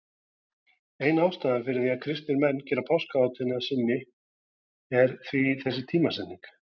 Ein ástæðan fyrir því að kristnir menn gerðu páskahátíðina að sinni er því þessi tímasetning.